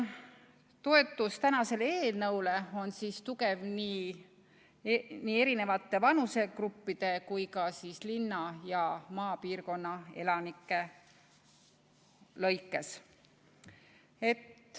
Toetus täna arutatavale eelnõule on tugev nii erinevate vanusegruppide kui ka linna- ja maaelanike lõikes.